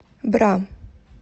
бра